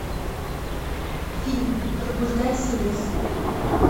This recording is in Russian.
фильм пробуждайся лес